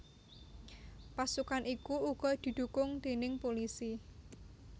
Pasukan iku uga didhukung déning pulisi